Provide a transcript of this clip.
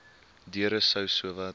deure sou sowat